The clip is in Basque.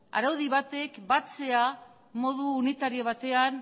araudi batek batzea modu unitario batean